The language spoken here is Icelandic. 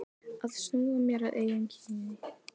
Að snúa mér að eigin kyni.